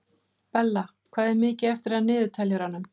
Bella, hvað er mikið eftir af niðurteljaranum?